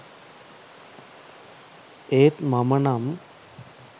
ඒත් මමනම්